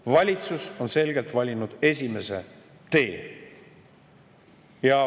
Valitsus on selgelt valinud esimese tee.